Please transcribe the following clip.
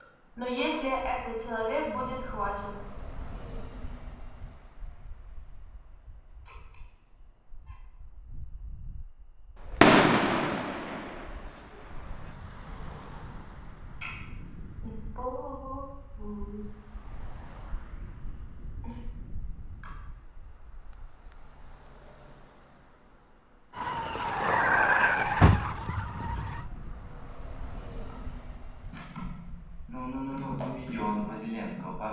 но если этот человек будет схвачен